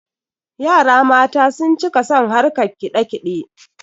yara mata sun cika son harkan kidakide